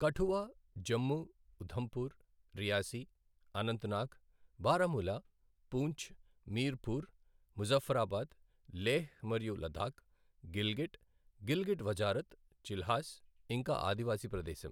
Kathua, Jammu, Udhampur, Reasi, Anantnag, Baramulla, Poonch, Mirpur, Muzaffarabad, Leh మరియు Ladakh, Gilgit, Gilgit Wazarat, Chilas, ఇంకా ఆదివాసీ ప్రదేశం.